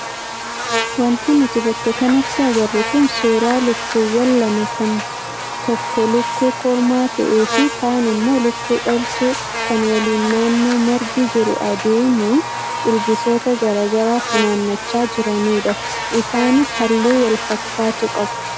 Wanti nuti bakka kanatti agarru kun suuraa lukkuuwwan lamaa kan tokko lukkuu kormaa ta'ee fi kaan immoo lukkuu dhaltuu kan waliin naannoo margi jiru adeemuun ilbiisota garaagaraa funaannachaa jiranidha. Isaanis halluu wal fakkaatu qabu.